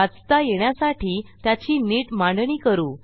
वाचता येण्यासाठी त्याची नीट मांडणी करू